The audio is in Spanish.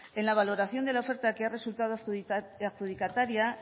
en la valoración de la oferta que ha resultado adjudicataria